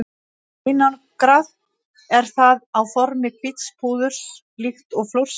Einangrað er það á formi hvíts púðurs líkt og flórsykur.